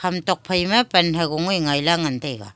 e tokphai ma pan hagong e ngai la ngan taga.